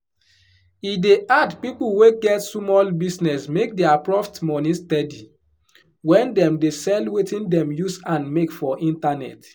e dey hard pipu wey get sumol business make dia proft money steady when dem dey sell wetin dem use hand make for internet